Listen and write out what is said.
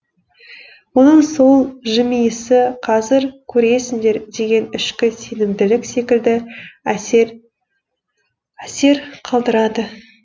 оның сол жымиысы қазір көресіңдер деген ішкі сенімділік секілді әсер қалдырады